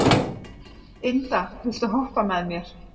Inda, viltu hoppa með mér?